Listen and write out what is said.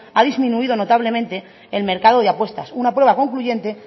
ha disminuido notablemente el mercado de apuestas una prueba concluyente